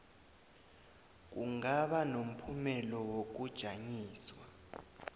kungaba nomphumela wokujanyiswa